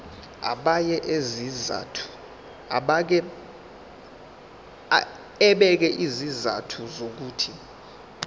ebeka izizathu zokuthi